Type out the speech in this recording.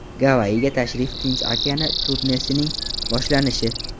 Gavayiga tashrif Tinch okeani turnesining boshlanishi.